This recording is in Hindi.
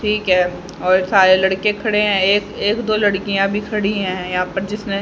ठीक है और सारे लड़के खड़े है ये एक दो लड़कियां भी खड़ी है यहा पर जिसने--